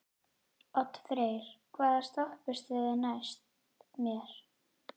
Oddfreyr, hvaða stoppistöð er næst mér?